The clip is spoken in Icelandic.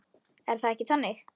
Er það ekki þannig?